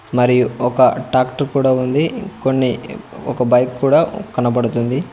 మరియు ఒక ట్రాక్టర్ కూడా ఉంది కొన్ని ఒక బైక్ కూడా కనబడుతుంది.